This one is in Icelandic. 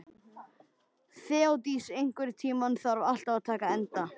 Þeódís, einhvern tímann þarf allt að taka enda.